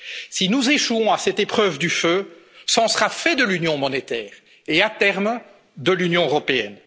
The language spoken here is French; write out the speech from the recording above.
communautaire. Si nous échouons à cette épreuve du feu, c'en sera fait de l'Union monétaire et, à terme, de l'Union